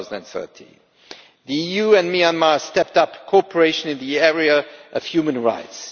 2013. The EU and Myanmar have stepped up cooperation in the area of human rights.